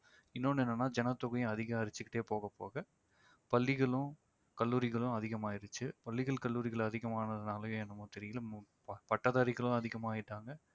இன்னொன்னு என்னென்நா ஜனத்தொகையும் அதிகரிச்சிட்டே போகப்போக பள்ளிகளும், கல்லூரிகளும் அதிகமாயிடுச்சு. பள்ளிகள், கல்லூரிகள் அதிகமானதானாலயோ என்னவோ தெரியல பட்டதாரிகளும் அதிகமாயிட்டாங்க